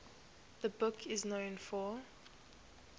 the book is known for